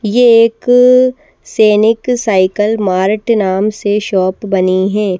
ये एक अ सैनिक साइकल मार्ट नाम से शॉप बनी है।